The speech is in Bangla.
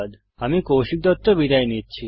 আমি কৌশিক দত্ত বিদায় নিচ্ছি